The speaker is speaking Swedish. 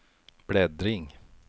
bläddring